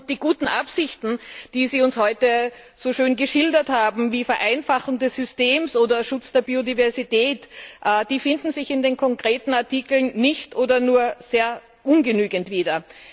Die guten Absichten, die Sie uns heute so schön geschildert haben, wie Vereinfachung des Systems oder Schutz der Biodiversität, finden sich in den konkreten Artikeln nicht oder nur sehr ungenügend wieder.